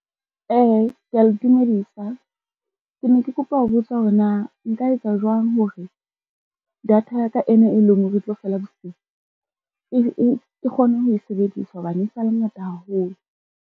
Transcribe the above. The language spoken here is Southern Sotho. Kea le dumedisa, ke ne ke kopa ho botsa hore na nka etsa jwang hore data ya ka ena e leng ho re e tlo fela bosiu, ke kgone ho e sebedisa hobane e sa le ngata haholo.